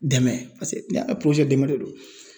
Dɛmɛ paseke ne dɛmɛ de don.